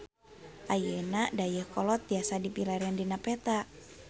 Ayeuna Dayeuhkolot tiasa dipilarian dina peta